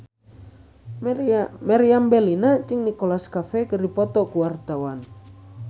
Meriam Bellina jeung Nicholas Cafe keur dipoto ku wartawan